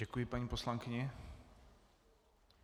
Děkuji paní poslankyni.